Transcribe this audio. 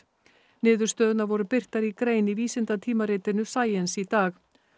niðurstöðurnar voru birtar í grein í vísindatímaritinu Science í dag